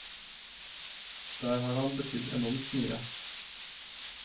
Der har han betydd enormt mye.